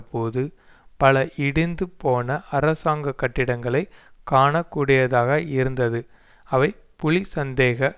போது பல இடிந்து போன அரசாங்க கட்டிடங்களை காண கூடியதாக இருந்தது அவை புலி சந்தேக